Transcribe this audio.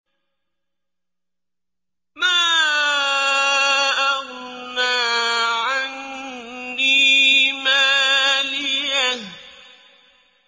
مَا أَغْنَىٰ عَنِّي مَالِيَهْ ۜ